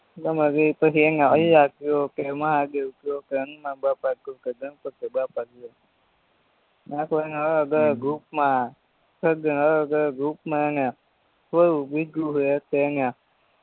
પછી એને અલાહ કયો કે મહાદેવ કયો કે હનુમાનબાપા કયો કે ગણપતિબાપા કયો અલગ અલગ રૂપમાં અલગ અલગ રૂપમાં હેને